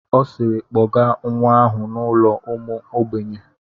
Ọ siiri, kpọgaa nwa ahụ n'ụlọ ụmụ ogbenye!